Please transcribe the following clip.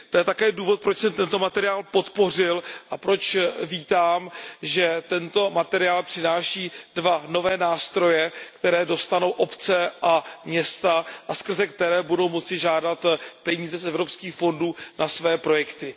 To je také důvod, proč jsem tento materiál podpořil a proč vítám, že tento materiál přináší dva nové nástroje, které dostanou obce a města a skrze které budou moci žádat o peníze z evropských fondů na své projekty.